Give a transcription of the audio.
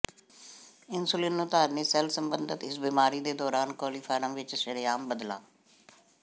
insulin ਨੂੰ ਧਾਰਨੀ cell ਸਬੰਧਤ ਇਸ ਬਿਮਾਰੀ ਦੇ ਦੌਰਾਨ ਕੋਲੀਫਾਰਮ ਵਿਚ ਸ਼ਰੇਆਮ ਬਦਲਾਅ